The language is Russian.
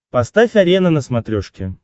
поставь арена на смотрешке